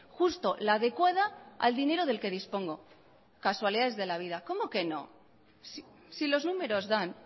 justo la adecuada al dinero del que dispongo casualidades de la vida cómo que no si los números dan